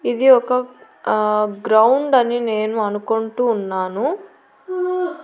ఇది ఒక ఆ గ్రౌండ్ అని నేను అనుకుంటూ ఉన్నాను.